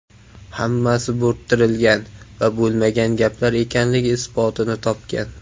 Hammasi bo‘rttirilgan va bo‘lmagan gaplar ekanligi isbotini topgan.